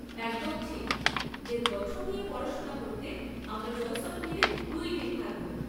একদম ঠিক! এর গঠন নিয়ে পড়াশোনা করতে আমরা জয়সলমীরে দুই দিন থাকব।